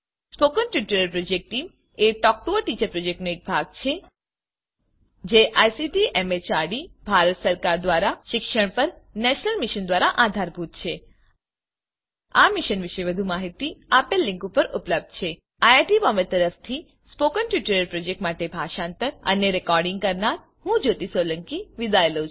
spoken tutorial project a talk to a teacher પ્રોજેક્ટનો એક ભાગ છે જે આઇસીટી એમએચઆરડી ભારત સરકાર દ્વારા શિક્ષણ પર નેશનલ મિશન દ્વારા આધારભૂત છે આ મિશન પર વધુ માહીતી આ લીંક પર ઉપલબ્ધ છે httpspoken tutorialorgNMEICT Intro iit Bombay તરફથી સ્પોકન ટ્યુટોરીયલ પ્રોજેક્ટ માટે ભાષાંતર કરનાર હું જ્યોતી સોલંકી વિદાય લઉં છું